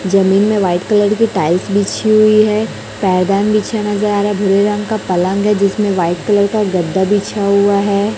जमीन में white colour की टाइल्स बिछी हुई है पायदान बिछा नजर आ रहा है भूरे रंग का पलंग है जिसमें व्हाइट कलर का गद्दा बिछा हुआ हैं।